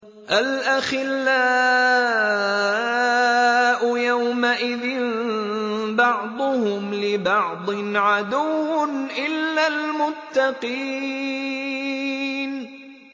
الْأَخِلَّاءُ يَوْمَئِذٍ بَعْضُهُمْ لِبَعْضٍ عَدُوٌّ إِلَّا الْمُتَّقِينَ